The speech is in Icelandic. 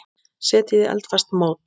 Setjið í eldfast mót.